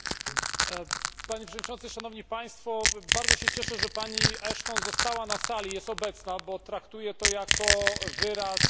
Bardzo się cieszę, że pani Ashton została na sali, jest obecna, bo traktuję to jako wyraz zainteresowania kwestiami praw człowieka.